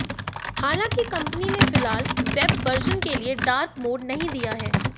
हालांकि कंपनी ने फिलहाल वेब वर्जन के लिए डार्क मोड नहीं दिया है